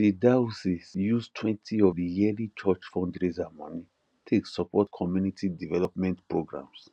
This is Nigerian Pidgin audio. the diocese use twenty of the yearly church fundraiser money take support community development programs